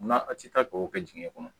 Munna a tɛ taa k'o kɛ dingɛ kɔnɔ